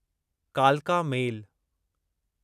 कालका मेल